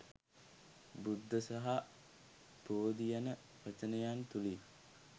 බුද්ධ සහ බෝධි යන වචනයන් තුළින්